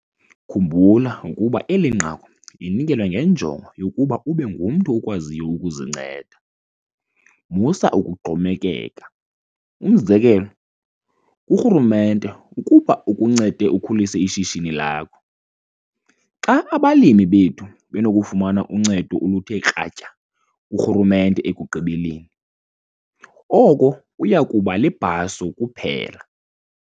Khumbula ukuba eli nqaku linikelwa ngenjongo yokuba ube ngumntu okwaziyo ukuzinceda. Musa ukuxhomekeka, umzekelo, kurhulumente ukuba akuncede ukhulise ishishini lakho. Xa abalimi bethu benokufumana uncedo oluthe kratya kurhulumente ekugqibeleni, oko kuya kuba libhaso kuphela.